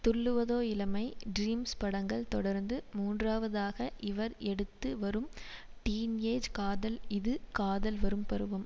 Thulluvadho Ilamai Dreams படங்களை தொடர்ந்து மூன்றாவதாக இவர் எடுத்து வரும் டீன் ஏஜ் காதல் இது காதல் வரும் பருவம்